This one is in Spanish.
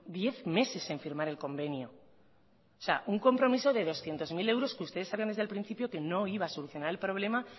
diez meses en firmar el convenio o sea un compromiso de doscientos mil euros que ustedes sabían desde el principio que no iba a solucionar el problema